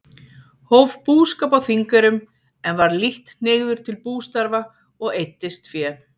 Hóf búskap á Þingeyrum, en var lítt hneigður til bústarfa og eyddist fé.